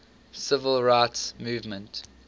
civil rights movement